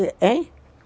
Hein?